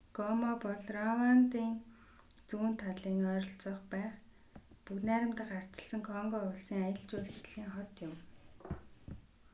гома бол рвандын зүүн талын ойролцоо байх бүгд найрамдах ардчилсан конго улсын аялал жуулчлалын хот юм